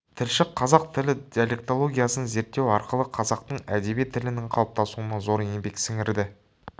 тілші қазақ тілі диалектологиясын зерттеу арқылы қазақтың әдеби тілінің қалыптасуына зор еңбек сіңірді